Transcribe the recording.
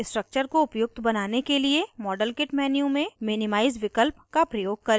structure को उपयुक्त बनाने के लिए modelkit menu में minimize विकल्प का प्रयोग करें